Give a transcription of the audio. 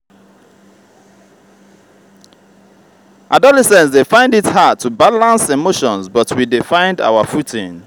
adolescents dey find it hard to balance emotions but we dey find our footing.